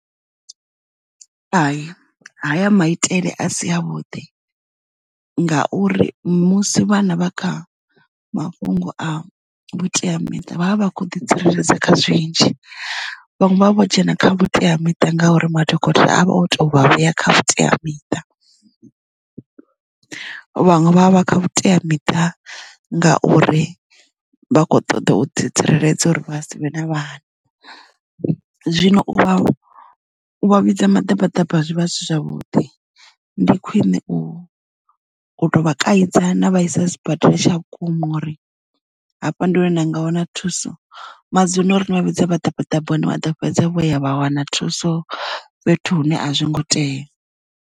Hai haya maitele a si a vhuḓi ngauri musi vhana vha kha mafhungo a vhuteamiṱa vhavha vha khou ḓi tsireledza kha zwinzhi vhanwe vha vho dzhena kha vhuteamiṱa nga uri madokotela a vha o tou vha vhuya kha vhuteamiṱa. Vhaṅwe vha vha vha kha vhuteamita ngauri vha kho ṱoḓa u ḓi tsireledza uri vha savhe na vhana zwino u vha u vha vhidza maḓabaḓaba zwi vha zwi si zwavhuḓi ndi khwine u tou vha kaidza na vhaisa sibadela tsha vhukuma uri hafha ndi hone hune na nga wana thuso madzuluno ri ni vhavhidze maḓabaḓaba hune vha ḓo fhedza vho ya vha wana thuso fhethu hune a zwo ngo tea.